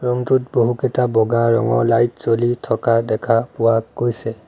Room টোত বহুকেইটা বগা ৰঙৰ লাইট জ্বলি থকা দেখা পোৱা গৈছে।